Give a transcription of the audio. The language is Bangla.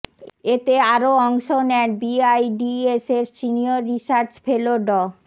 এতে আরও অংশ নেন বিআইডিএসের সিনিয়র রিসার্চ ফেলো ড